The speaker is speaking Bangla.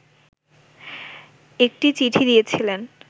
একটি চিঠি দিয়েছিলেন